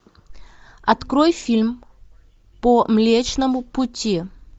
открой фильм по млечному пути